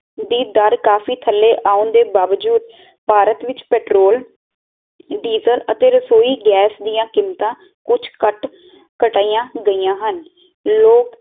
ਦੀ ਦਰ ਕਾਫੀ ਥੱਲੇ ਆਉਣ ਦੇ ਵਾਵਜੂਦ ਭਾਰਤ ਵਿੱਚ ਪੈਟਰੋਲ, ਡੀਜ਼ਲ ਅਤੇ ਰਸੋਈ ਗੈਸ ਦੀਆ ਕੀਮਤਾਂ ਕੁੱਜ ਕੱਟ ਕਟਾਇਆ ਗਾਇਆ ਹਨ ਲੋਕ